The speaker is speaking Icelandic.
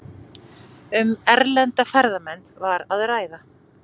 Um erlenda ferðamenn var að ræða